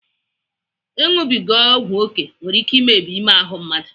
Ịnụbiga ọgwu oké nwere ike imebi ime ahụ mmadụ.